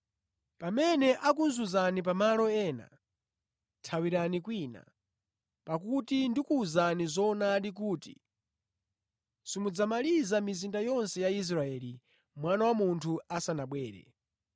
Pamene akuzunzani pamalo ena thawirani kwina. Pakuti ndikuwuzani zoonadi kuti simudzamaliza mizinda yonse ya Israeli Mwana wa Munthu asanabwere.